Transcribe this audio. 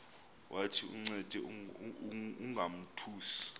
wathi uncede ungamothusi